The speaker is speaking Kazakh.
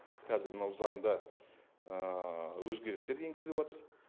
қазір мынау заңда өзгерістер енгізіліватыр